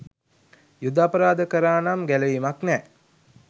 යුධ අපරාධ කරා නම් ගැලවීමක් නැ